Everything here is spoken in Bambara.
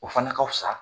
O fana ka fisa